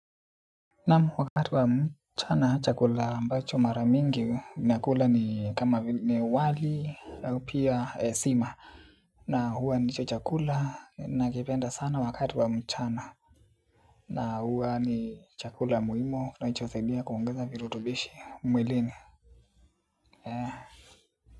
Naamu wakati wa mchana chakula ambacho maramingi ninakula ni kama wali au pia sima na huwa ndicho chakula nakipenda sana wakati wa mchana na huwa ni chakula muhimu kinachosaidia kuongeza virutubishi mwilini.